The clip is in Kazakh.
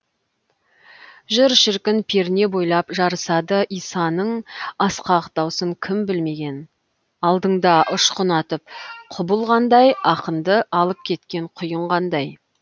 жыр шіркін перне бойлап жарысады исаның асқақ даусын кім білмеген алдыңда ұшқын атып құбылғандай ақынды алып кеткен құйын қандай